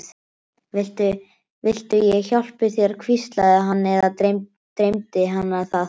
Viltu ég hjálpi þér, hvíslaði hann- eða dreymdi hana það?